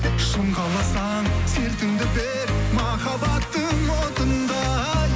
шың қаласаң сертіңді бер махаббаттың отындай